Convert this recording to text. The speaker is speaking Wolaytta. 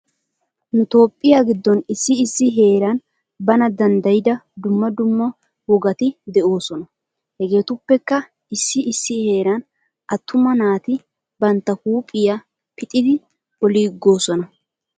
Nu toophphiya giddon issi issi heeran bana danddiyida dumma dumma wogati de'oosona. Hegeetuppekka issi issi heeran attuama naati bantta huuphiya pixidi oliigoosona.